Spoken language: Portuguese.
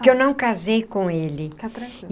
Que eu não casei com ele. Fica tranquila.